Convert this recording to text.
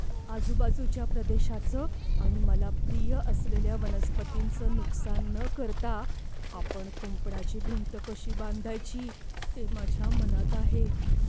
आजूबाजूच्या भूप्रदेशाचं आणि मला प्रिय असलेल्या वनस्पतींचं नुकसान न करता आपण कुंपणाची भिंत कशी बांधायची ते माझ्या मनात आहे.